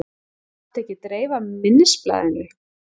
Mátti ekki dreifa minnisblaðinu